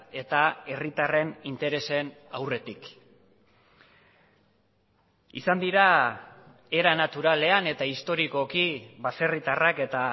eta herritarren interesen aurretik izan dira era naturalean eta historikoki baserritarrak eta